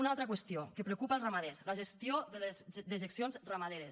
una altra qüestió que preocupa els ramaders la gestió de les dejeccions ramaderes